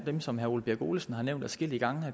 dem som herre ole birk olesen har nævnt adskillige gange